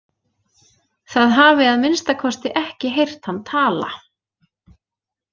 Það hafi að minnsta kosti ekki heyrt hann tala.